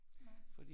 Nej